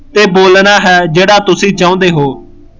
ਤੇ ਬੋਲਣਾ ਹੈ ਜਿਹੜਾ ਤੁਸੀਂ ਚਾਉਂਦੇ ਹੋ